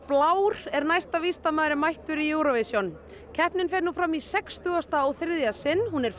blár er næst víst að maður er mættur í Eurovision keppnin fer nú fram í sextugasta og þriðja sinn og hún er